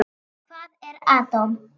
Hvað er atóm?